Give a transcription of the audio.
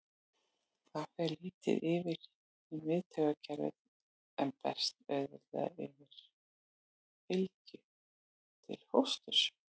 Það fer lítið yfir í miðtaugakerfið en berst auðveldlega yfir fylgju til fósturs.